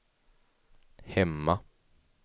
hemma